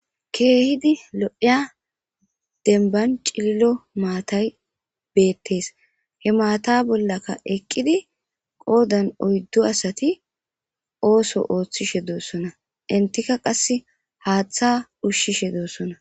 keehidi lo7ieya denbancililo maatay beettes he maata bollaka eqqidi qoodan oyddu asati ooso ooththishe doossona intika qasse haaththa ushshishe doossona